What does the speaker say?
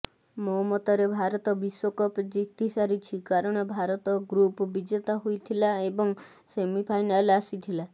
ମୋ ମତରେ ଭାରତ ବିଶ୍ବକପ୍ ଜିତି ସାରିଛି କାରଣ ଭାରତ ଗ୍ରୁପ୍ ବିଜେତା ହୋଇଥିଲା ଏବଂ ସେମିଫାଇନାଲ୍ ଆସିଥିଲା